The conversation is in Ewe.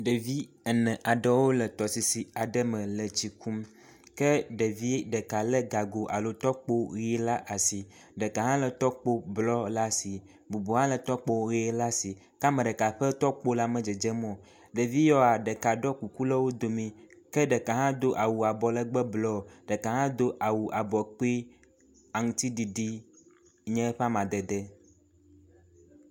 ɖevi ene aɖewo le tɔsisi aɖe me le tsi kum ke ɖevi ɖeka le gago alo tɔkpo ɣi le asi ɖeka hã le tɔkpo blɔ le asi bubu hã le tɔkpo ɣi la asi ke ameɖeka ƒe tɔkpo la me dzedzem o ɖeviyawoa ɖeka ɖó kuku le wodomi ke ɖeka hã do awu abɔlegbe blɔ ke ɖeka hã dó awu abɔ kpi aŋtiɖiɖi nye eƒe amadede